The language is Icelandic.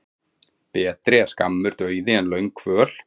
Betri er skammur dauði en löng kvöl.